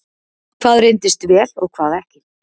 hvað reyndist vel og hvað ekki